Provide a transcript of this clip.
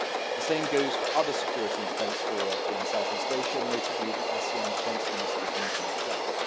The same goes for other security and defence forums in Southeast Asia, notably the ASEAN Defence Ministers' Meeting Plus.